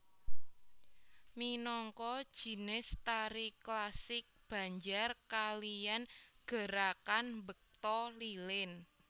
Minangka jinis tari klasik Banjar kaliyan gerakan mbekta lilin